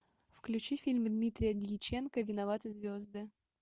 включи фильм дмитрия дьяченко виноваты звезды